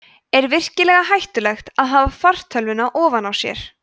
er virkilega hættulegt að hafa fartölvuna ofan á sér